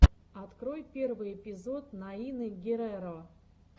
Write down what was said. открой первый эпизод наины герреро